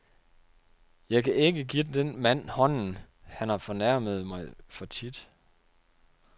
Jeg kan ikke gi den mand hånden, han har fornærmet mig for tit.